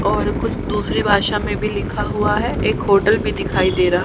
और कुछ दूसरी भाषा में भी लिखा हुआ है एक होटल भी दिखाई दे रहा--